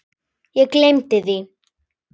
Ég gleymdi því.